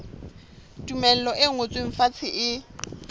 tumello e ngotsweng fatshe e